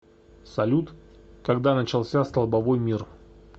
салют когда начался столбовой мир